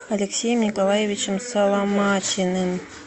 алексеем николаевичем соломатиным